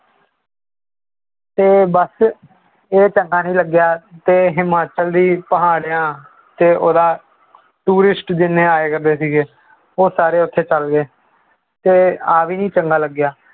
ਤੇ ਬਸ ਇਹ ਚੰਗਾ ਨਹੀਂ ਲੱਗਿਆ, ਤੇ ਹਿਮਾਚਲ ਦੀ ਪਹਾੜਾਂ ਤੇ ਉਹਦਾ tourist ਜਿੰਨੇ ਆਏ ਕਰਦੇ ਸੀਗੇ, ਉਹ ਸਾਰੇ ਉੱਥੇ ਚਲੇ ਗਏ, ਤੇ ਆਹ ਵੀ ਨੀ ਚੰਗਾ ਲੱਗਿਆ।